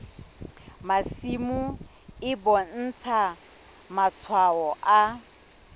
masimo e bontsha matshwao a